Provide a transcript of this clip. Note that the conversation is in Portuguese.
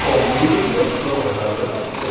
Só muda a direção, mas é a mesma coisa.